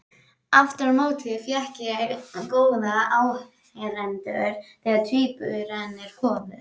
Aftur á móti fékk ég góða áheyrendur þegar tvíburarnir komu.